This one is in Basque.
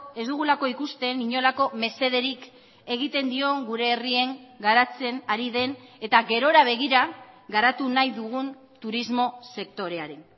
ez dugulako ikusten inolako mesederik egiten dion gure herrien garatzen ari den eta gerora begira garatu nahi dugun turismo sektoreari